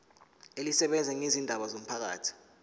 elisebenza ngezindaba zomphakathi